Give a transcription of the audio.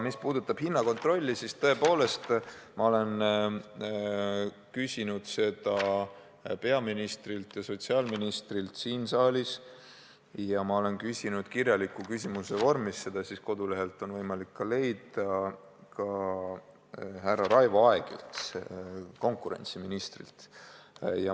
Mis puudutab hinnakontrolli, siis tõepoolest, ma olen küsinud seda peaministrilt ja sotsiaalministrilt siin saalis ja olen küsinud selle kohta ka kirjaliku küsimuse vormis –kodulehelt on võimalik seda leida – ka härra Raivo Aegilt, konkurentsiministrilt.